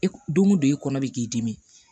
E donko don e kɔnɔ bɛ k'i dimi